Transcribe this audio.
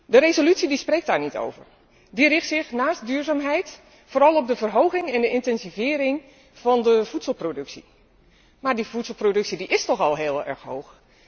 De resolutie spreekt daar niet over. Die richt zich behalve op duurzaamheid vooral op de verhoging en intensivering van de voedselproductie. Maar die voedselproductie is al heel erg hoog.